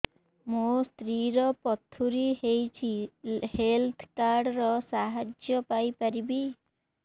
ମୋ ସ୍ତ୍ରୀ ର ପଥୁରୀ ହେଇଚି ହେଲ୍ଥ କାର୍ଡ ର ସାହାଯ୍ୟ ପାଇପାରିବି